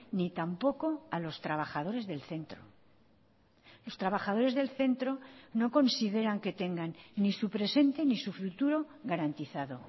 ni tampoco a los trabajadores del centro los trabajadores del centro no consideran que tengan ni su presente ni su futuro garantizado